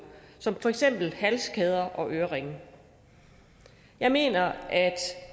som for eksempel halskæder og øreringe jeg mener at